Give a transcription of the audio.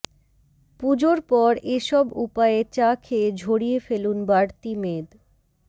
পুজোর পর এ সব উপায়ে চা খেয়ে ঝরিয়ে ফেলুন বাড়তি মেদ